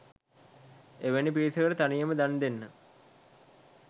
එවැනි පිරිසකට තනියම දන් දෙන්න